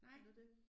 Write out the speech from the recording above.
Nej